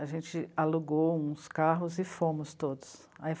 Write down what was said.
A gente alugou uns carros e fomos todos.